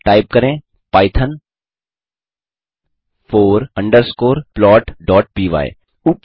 type करें Python four underscore plotपाय Oops